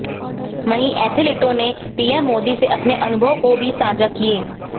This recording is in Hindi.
वहीं एथलीटों ने पीएम मोदी से अपने अनुभव को भी साझा किए